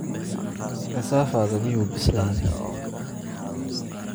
Kasaafada miyuu bislaaday?